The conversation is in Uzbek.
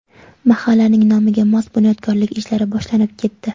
Mahallaning nomiga mos bunyodkorlik ishlari boshlanib ketdi.